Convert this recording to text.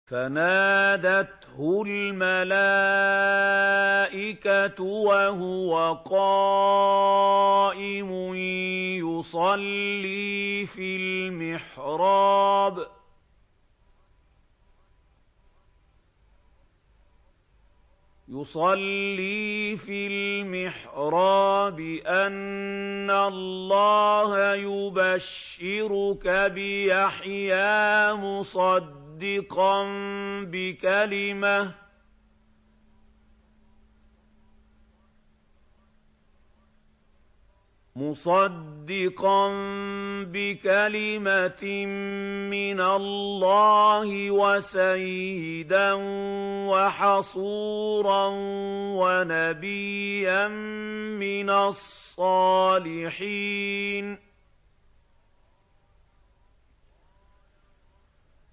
فَنَادَتْهُ الْمَلَائِكَةُ وَهُوَ قَائِمٌ يُصَلِّي فِي الْمِحْرَابِ أَنَّ اللَّهَ يُبَشِّرُكَ بِيَحْيَىٰ مُصَدِّقًا بِكَلِمَةٍ مِّنَ اللَّهِ وَسَيِّدًا وَحَصُورًا وَنَبِيًّا مِّنَ الصَّالِحِينَ